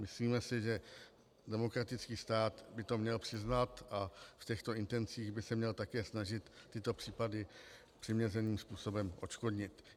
Myslíme si, že demokratický stát by to měl přiznat a v těchto intencích by se měl také snažit tyto případy přiměřeným způsobem odškodnit.